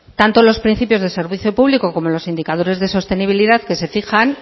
tanto los principios de servicios públicos como los indicadores de sostenibilidad que se fijan